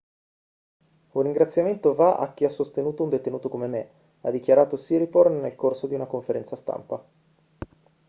un ringraziamento va a chi ha sostenuto un detenuto come me ha dichiarato siriporn nel corso di una conferenza stampa